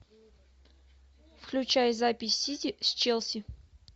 включай запись сити с челси